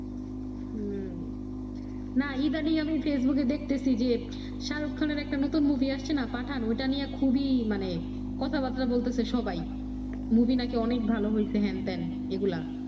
হু, না ইদানিং আমি ফেসবুকে দেখতেছি যে শাহরুখ খানের একটা নতুন মুভি আচ্ছে না পাঠান ওইটা নিয়ে খুবি মানে কথা বার্তা বলতেছে সবাই মুভি না কি অনেক ভালো হইছে হেন তেন এগুলা